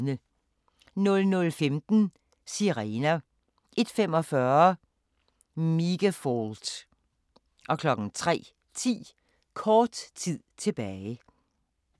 00:15: Sirener 01:45: Megafault 03:10: Kort tid tilbage